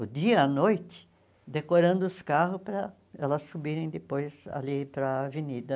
o dia e a noite, decorando os carros para elas subirem depois ali para a avenida.